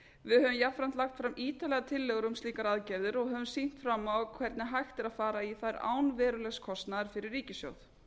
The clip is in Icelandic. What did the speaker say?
við höfum jafnframt lagt fram ítarlegar tillögur um slíkar aðgerðir og höfum sýnt fram á hvernig hægt er fara í þær án verulegs kostnaðar fyrir ríkissjóð